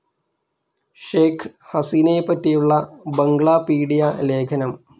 ഷെയ്ഖ്‌ ഹസീനയെപ്പറ്റിയുള്ള ബംഗ്ലാപീഡിയ ലേഖനം